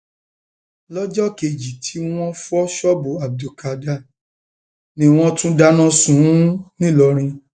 lọjọ kejì tí wọn fọ ṣọọbù abdulkádar ni wọn tún dáná sun ún ńìlọrin